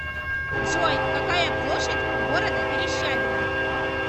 джой какая площадь у города верещагино